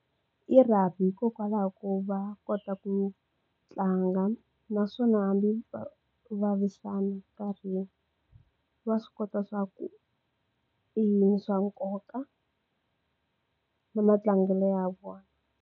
I rugby hikokwalaho ko va kota ku tlanga naswona hambi va vavisana nkarhi va swi kota swa ku i swa nkoka na matlangelo ya vona.